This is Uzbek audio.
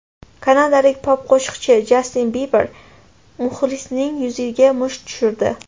Kanadalik pop-qo‘shiqchi Jastin Biber muxlisining yuziga musht tushirdi.